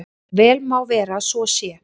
Vel má vera að svo sé.